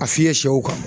A fiyɛ sɛw kan